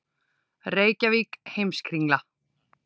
Reykjavík, Heimskringla.